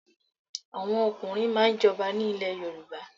Àwọn ọ̀kùnrin máà ń jọba ni ilẹ̀ Yorùbá